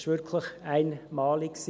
Es war wirklich einmalig.